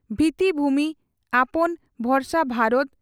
ᱵᱷᱤᱛᱤᱵᱷᱩᱢᱤ ᱟᱯᱚᱱ ᱵᱷᱚᱨᱚᱥᱟ ᱵᱷᱟᱨᱚᱛ